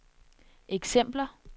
eksempler